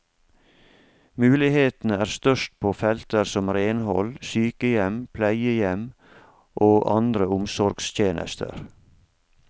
Mulighetene er størst på felter som renhold, sykehjem, pleiehjem og andre omsorgstjenester.